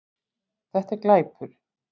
Þetta er glæpur